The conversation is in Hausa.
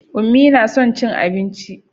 Unmie na son cin abinci.